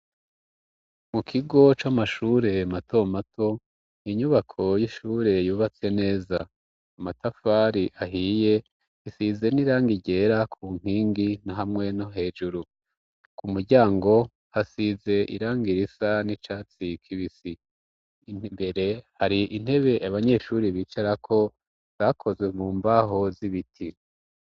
Mu kigo c'amashure matomato inyubako y'ishure yubatse neza amatafari ahiye isize n'irangi ryera ku nkingi na hamwe no hejuru ku muryango hasize irangi risa n'icatsi kibisi imbere hari intebe abanyeshuri bicara ko zakozwe mu mbaho z'ibiti.